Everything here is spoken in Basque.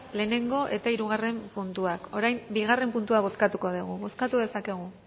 lehenengo eta hirugarren puntuak orain bigarren puntua bozkatuko dugu bozkatu dezakegu